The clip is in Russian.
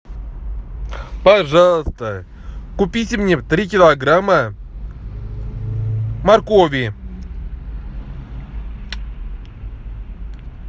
пожалуйста купите мне три килограмма моркови